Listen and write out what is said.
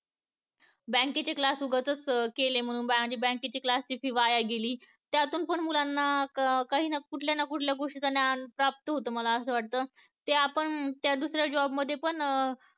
bank चे class उगाचच केले म्हणून आणि bank च्या class ची fee वाया गेली त्यातून पण मुलांना काही ना कुठल्या ना कुठल्या गोष्टी च ज्ञान प्राप्त होत मला असं वाटत ते आपण त्या दुसऱ्या job मध्ये पण